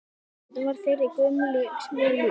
Þarna var þeirri gömlu vel lýst.